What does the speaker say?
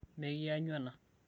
mekianyu ena